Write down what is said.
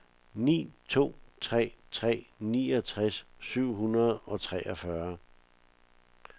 ni to tre tre niogtres syv hundrede og treogfyrre